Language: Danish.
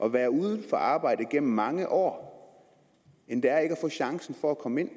at være uden arbejde igennem mange år end det er ikke at få chancen for at komme ind